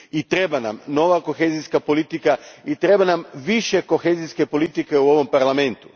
I treba nam nova kohezijska politika i treba nam više kohezijske politike u ovom Parlamentu.